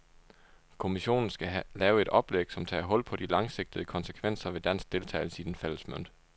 Kommissionen skal lave et oplæg, som tager hul på de langsigtede konsekvenser ved dansk deltagelse i den fælles mønt.